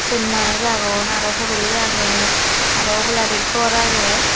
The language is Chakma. swot manush aagon arow horoli agay arow oboladi gor aagey.